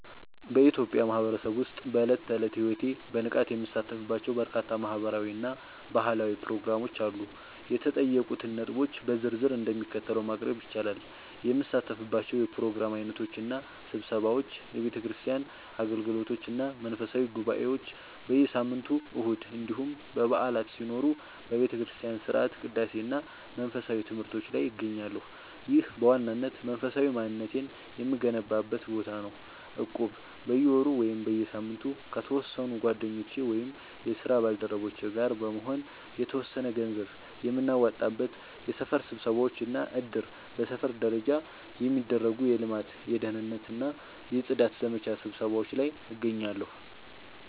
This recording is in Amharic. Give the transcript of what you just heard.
በኢትዮጵያ ማህበረሰብ ውስጥ በዕለት ተዕለት ሕይወቴ በንቃት የምሳተፍባቸው በርካታ ማህበራዊ እና ባህላዊ ፕሮግራሞች አሉ። የተጠየቁትን ነጥቦች በዝርዝር እንደሚከተለው ማቅረብ ይቻላል፦ የምሳተፍባቸው የፕሮግራም ዓይነቶች እና ስብሰባዎች፦ የቤተክርስቲያን አገልግሎቶች እና መንፈሳዊ ጉባኤዎች፦ በየሳምንቱ እሁድ እንዲሁም በዓላት ሲኖሩ በቤተክርስቲያን ሥርዓተ ቅዳሴ እና መንፈሳዊ ትምህርቶች ላይ እገኛለሁ። ይህ በዋናነት መንፈሳዊ ማንነቴን የምገነባበት ቦታ ነው። እቁብ፦ በየወሩ ወይም በየሳምንቱ ከተወሰኑ ጓደኞቼ ወይም የስራ ባልደረቦቼ ጋር በመሆን የተወሰነ ገንዘብ የምናዋጣበት። የሰፈር ስብሰባዎች እና እድር፦ በሰፈር ደረጃ የሚደረጉ የልማት፣ የደህንነት ወይም የጽዳት ዘመቻ ስብሰባዎች ላይ እገኛለሁ።